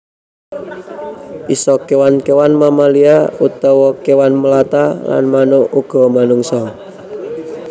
Isa kéwan kéwan mamalia utawa kéwan melata lan manuk uga manungsa